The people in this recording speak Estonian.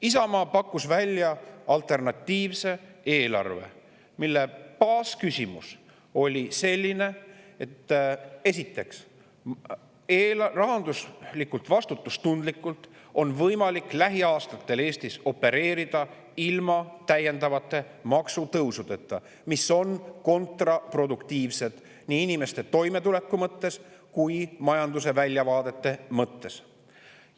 Isamaa pakkus välja alternatiivse eelarve, mille baasküsimus oli selline, et Eestis on võimalik lähiaastatel opereerida rahanduslikult vastutustundlikult, ilma täiendavate maksutõusudeta, mis on kontraproduktiivsed nii inimeste toimetuleku kui ka majanduse väljavaadete mõttes.